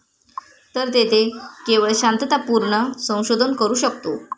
तर तेथे केवळ शांततापूर्ण संशोधन करू शकतो.